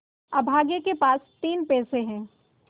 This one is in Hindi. अभागे के पास तीन पैसे है